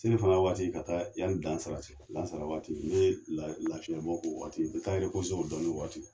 Selifana waati ka taa yani lansara cɛ. Lansara waati ne lafiɲɛ bɔ kɛ o waati , n be taa n o waati.